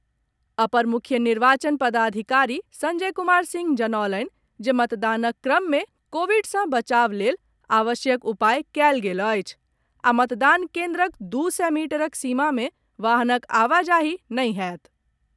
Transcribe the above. अपर मुख्य निर्वाचन पदाधिकारी संजय कुमार सिंह जनौलनि जे मतदानक क्रम में कोविड सँ बचाव लेल आवश्यक उपाय कयल गेल अछि आ मतदान केन्द्रक दू सय मीटरक सीमा मे वाहनक आवाजाही नहि होयत।